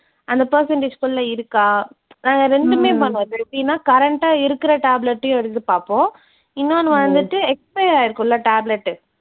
அந்த percentage குள்ள இருக்கா, நாங்க ரெண்டுமே பண்ணுவோம் இப்போ எப்படின்னா current டா இருக்குற tablet டயும் எடுத்துப் பார்ப்போம். இன்னொன்னு வந்துட்டு expiry ஆயிருக்கோம்ல tablet உ